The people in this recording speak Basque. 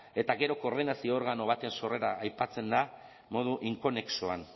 eta gero koordinazio organo baten sorrera aipatzen da modu inkonexoan